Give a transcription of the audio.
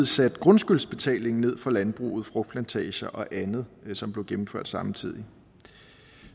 satte grundskyldsbetalingen ned for landbruget frugtplantager og andet som blev gennemført samtidig